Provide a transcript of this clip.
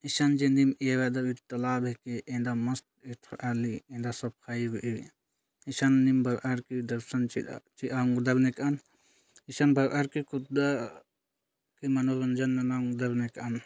इसन जेन दिन इरादर तालाब हेके एन्दा मस्त एथ्राली एन्दा सफाईए इसन नीम बरआरके दर्शन मुदल एकन ईशन बरारके कूद अ के मनोरंजन मुदल एकन |